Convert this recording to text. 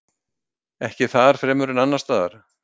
Ekki þar fremur en annarsstaðar.